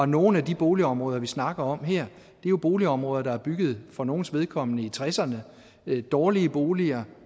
nogle af de boligområder vi snakker om her er jo boligområder der er bygget for nogles vedkommende i nitten tresserne det er dårlige boliger